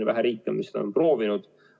On vähe riike, kes seda on proovinud.